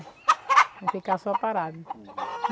Não ficar só parada.